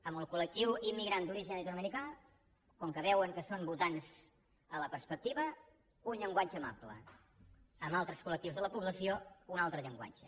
amb el col·lectiu immigrant d’origen llatinoamericà com que veuen que són votants a la perspectiva un llenguatge amable amb altres col·lectius de la població un altre llenguatge